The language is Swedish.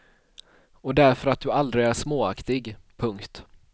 Och därför att du aldrig är småaktig. punkt